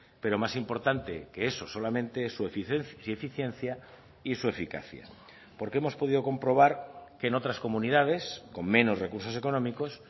pero más importante que eso solamente es su eficiencia y su eficacia porque hemos podido comprobar que en otras comunidades con menos recursos económicos